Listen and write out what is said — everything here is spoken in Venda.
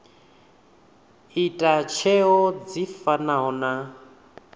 ita tsheo dzi fanaho na